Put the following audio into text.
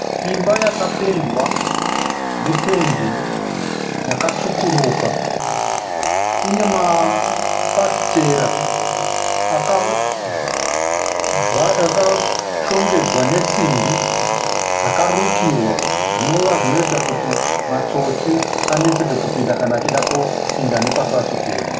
Imba yakapendwa nependi yakatsvukuruka. Ine mafafitera akashongedzwa nesimbi dzakarukirwa, zvinova zvinoita kuti matsotsi aneteske kupinda kana achida kupinda nepafafitera.